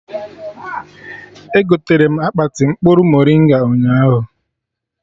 Egoterem akpati mkpụrụ moringa ụnyaahụ